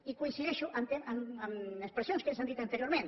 i coincideixo amb expressions que s’han dit anteriorment